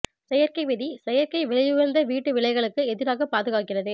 செயற்கை விதி செயற்கை விலை உயர்ந்த வீட்டு விலைகளுக்கு எதிராக பாதுகாக்கிறது